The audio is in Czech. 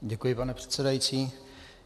Děkuji, pane předsedající.